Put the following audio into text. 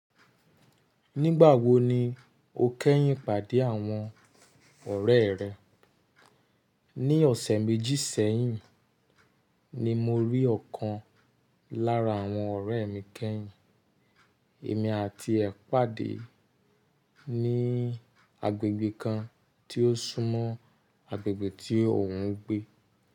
Nígbà wo ni o kẹ́yìn pàdé àwọn ọ̀rẹ́ rẹ? Ní ọ̀sẹ̀ méjì sẹ́yìn ni mo rí ọ̀kan lára àwọn ọ̀rẹ́ mi kẹ́yìn. Èmi àti ẹ pàdé ní agbègbè kan tí ó súnmọ́ agbègbè tí òun ń gbé.